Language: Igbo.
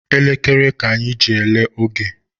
Elekere ka anyị ji ele oge